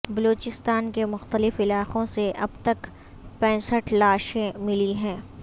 بلوچستان کے مختلف علاقوں سے اب تک پینسٹھ لاشیں ملی ہیں